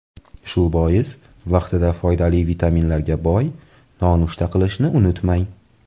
Shu bois vaqtida foydali vitaminlarga boy nonushta qilishni unutmang.